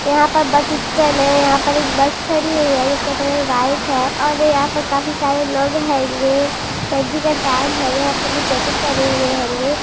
यहाँ पर bus stand हैं यहाँ पर एक बस खड़ी हुई हैंजिसका कलर वाइट हैं और यहाँ पर काफी सारे लोग होंगे सर्दी का टाइम हैंयहाँ पे लोग जैकेट पहने हुए हेंगें।